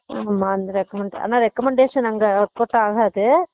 ஆமா அந்த recommand ஆனா recommadation அங்க work out ஆகாது